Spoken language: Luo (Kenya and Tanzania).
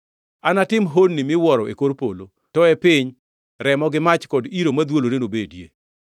Anatim honni miwuoro e kor polo to e piny, remo gi mach kod iro madhwolore nobedie.